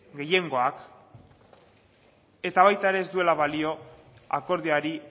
gehiengoak eta baita ere ez duela balio akordioari